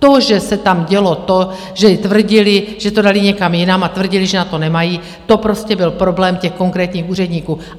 To, že se tam dělo to, že tvrdili, že to dali někam jinam, a tvrdili, že na to nemají, to prostě byl problém těch konkrétních úředníků.